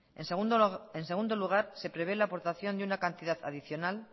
en segundo lugar se prevé la aportación de una cantidad adicional